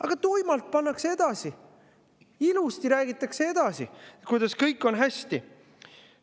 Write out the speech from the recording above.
Aga tuimalt pannakse edasi, ilusti räägitakse edasi, et kõik on hästi.